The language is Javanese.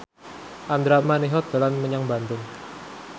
Andra Manihot dolan menyang Bandung